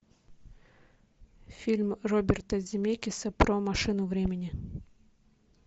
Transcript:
фильм роберта земекиса про машину времени